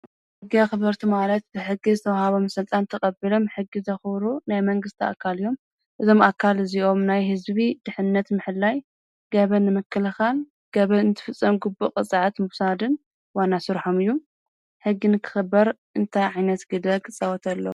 ሕጊ ኽበርቲ ማለት ብሕጊ ዝተውሃቦ ምሠልጣን ተቐብሎም ሕጊ ዘኽሩ ናይ መንግሥቲ ኣካልዮም እዞም ኣካል እዚኦም ናይ ሕዝቢ ድኅነት ምሕላይ ገበ መክልኻን ገበ እንቲ ፍጸም ጕቡእ ቕፃዐት ምብሳድን ዋናሱርሖምእዩ ሕጊንክኽበር እንታይ ዒነት ግደ ኽጸወተሎ።